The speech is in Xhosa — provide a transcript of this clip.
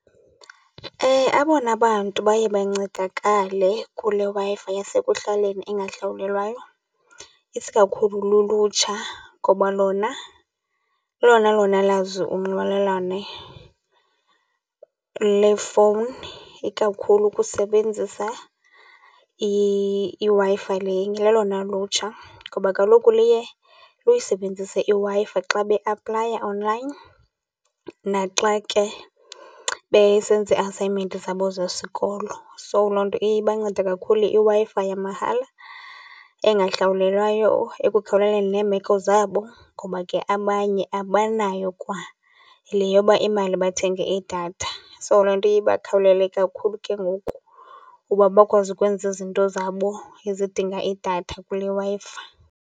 Abona bantu baye bancedakale kule Wi-Fi yasekuhlaleni engahlawulelwayo isikakhulu lulutsha, ngoba lona lolona lona lazi unxibelelane lefowuni, ikakhulu ukusebenzisa iWi-Fi le. Lolona lutsha ngoba kaloku liye luyisebenzise iWi-Fi xa beaplaya online naxa ke besenza ii-assignment zabo zesikolo. So, loo nto iye ibancede kakhulu iWi-Fi yamahala engahlawulelwayo ekukhawuleleni neemeko zabo, ngoba ke abanye abanayo kwale yoba imali bathenge idatha. So, loo nto iye ibakhawulele kakhulu ke ngoku uba bakwazi ukwenza izinto zabo ezidinga idatha kule Wi-Fi.